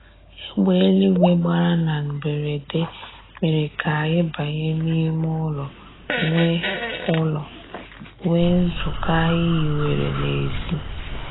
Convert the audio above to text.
Egbe eluigwe gbara na mberede mere k'anyị banye n'ime ụlọ nwee ụlọ nwee nzukọ anyị hiwere n'ezi